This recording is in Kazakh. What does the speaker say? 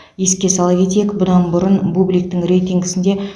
еске сала кетейік бұдан бұрын бубликтің рейтингісінде